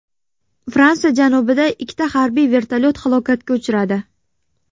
Fransiya janubida ikkita harbiy vertolyot halokatga uchradi.